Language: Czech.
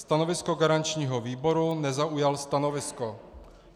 Stanovisko garančního výboru - nezaujal stanovisko.